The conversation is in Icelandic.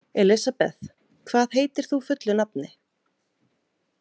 Elisabeth, hvað heitir þú fullu nafni?